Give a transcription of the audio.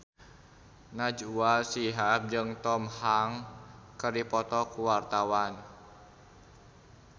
Najwa Shihab jeung Tom Hanks keur dipoto ku wartawan